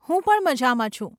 હું પણ મઝામાં છું.